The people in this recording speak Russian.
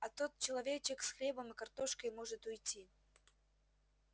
а тот человечек с хлебом и картошкой может уйти